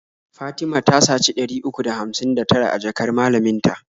Fatima ta saci ɗari uku da hamsin da tara a jakar malamin ta.